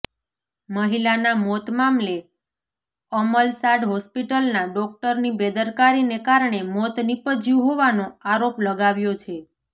મહિલાના મોત મામલે અમલસાડ હોસ્પિટલના ડોકટરોની બેદરકારીને કારણે મોત નીપજ્યું હોવાનો આરોપ લગાવ્યો છે